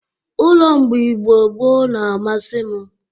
Ụlọ mgbe Igbo gboo n'amasị m.